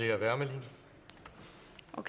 jeg vil